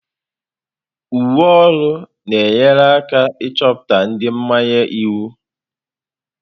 Uwe ọrụ na-enyere aka ịchọpụta ndị mmanye iwu.